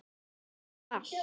Með bindi og allt!